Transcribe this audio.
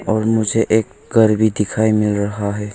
और मुझे एक घर भी दिखाई मिल रहा है।